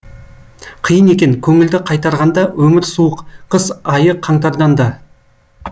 қиын екен көңілді қайтарғанда өмір суық қыс айы қаңтардан да